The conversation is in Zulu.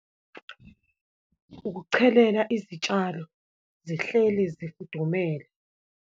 Ukuchelela izitshalo, zihleli zifudumele.